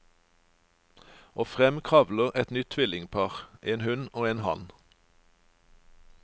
Og frem kravler et nytt tvillingpar, en hun og en han.